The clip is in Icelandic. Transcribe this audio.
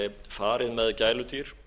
farið með gæludýr